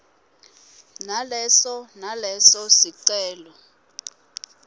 naleso naleso sicelo